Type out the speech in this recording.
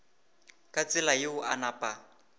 ka tsela yeo a napa